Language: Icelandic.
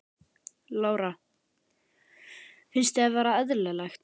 Lára: Finnst þér það vera eðlilegt?